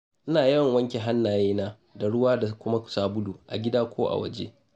Ina yawan wanke hannayena da ruwa da kuma sabulu a gida ko a waje.